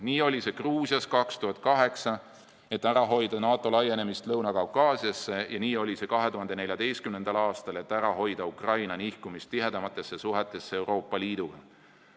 Nii oli see Gruusias 2008, et ära hoida NATO laienemist Lõuna-Kaukaasiasse, ja nii oli see 2014. aastal, et ära hoida Ukraina nihkumist tihedamatesse suhetesse Euroopa Liiduga.